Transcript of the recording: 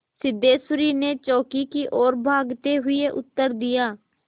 सिद्धेश्वरी ने चौके की ओर भागते हुए उत्तर दिया